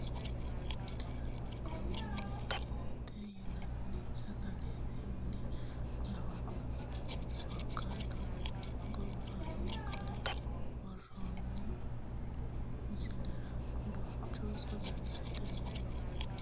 Kidane mihiret yinanni sagalete mine lawanoe korkaatuno gobbaani qolle worrooni misilera duuchu sagalete dani diraminota ikkase shotu garinni sagalete mine ikkasi buuxisiissanonke